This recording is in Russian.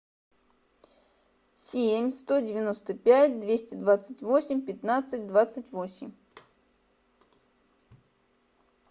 семь сто девяносто пять двести двадцать восемь пятнадцать двадцать восемь